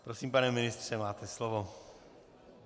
Prosím, pane ministře, máte slovo.